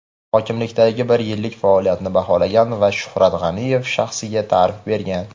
hokimlikdagi bir yillik faoliyatini baholagan va Shuhrat G‘aniyev shaxsiga ta’rif bergan.